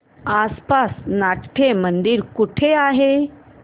आसपास नाट्यमंदिर कुठे आहे